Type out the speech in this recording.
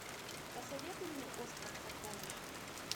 посоветуй мне остров сокровищ